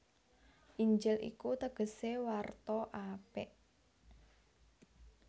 Injil iku tegesé warta apik